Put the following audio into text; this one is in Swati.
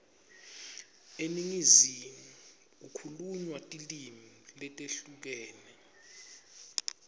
eningizimu kukhulunywa tilimi letehlukene